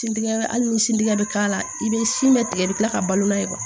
Sin di hali ni sin tigɛ bɛ k'a la i bɛ sin bɛ tigɛ ka tila ka balo la